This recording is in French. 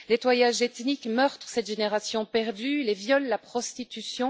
Nettoyage ethnique, meurtres, cette génération perdue, les viols, la prostitution...